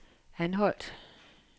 Anholt